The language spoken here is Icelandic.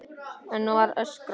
Enn var öskrað.